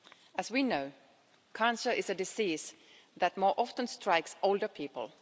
As we know, cancer is a disease that more often strikes older people.